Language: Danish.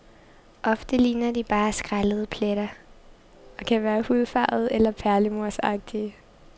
Ofte ligner de bare skællede pletter, og kan være hudfarvede eller perlemorsagtige.